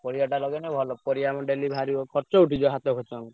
ପରିବାଟା ଲଗେଇଲେ ଭଲ। ପରିବା ଆମର daily ବାହାରିବ ଖର୍ଚ ଉଠିଯିବ ହାତ ଖର୍ଚ ଆମର।